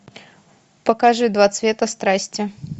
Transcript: покажи два цвета страсти